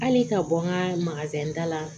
Hali ka bɔ n ka ta la